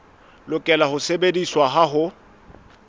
lokela ho sebediswa ha ho